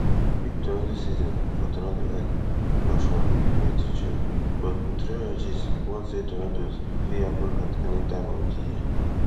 peak tornado season for tornado alley na from may to june but meteorologists warn say tornadoes fit happun at any time of di year